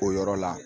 O yɔrɔ la